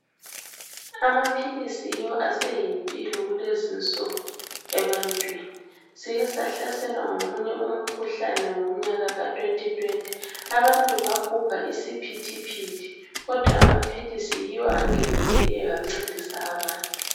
Amaphilisi yiwo aseyimpilo kulezi insuku ebantwini. Sike sahlaselwa ngomunye umkhuhlane ngomnyaka ka"2020".Abantu babhubha isiphithiphithi kodwa amaphilisi yiwo angenelileyo ancedisa abantu.